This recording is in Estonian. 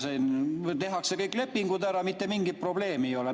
Siin tehakse kõik lepingud ära, mitte mingit probleemi ei ole.